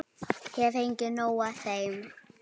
Hef fengið nóg af þeim.